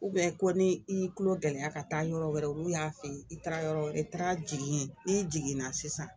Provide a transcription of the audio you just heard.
ko ni i y'i kulo gɛlɛya ka taa yɔrɔ wɛrɛ olu y'a f'i ye i taara yɔrɔ wɛrɛ i taara jigin n'i jiginna sisan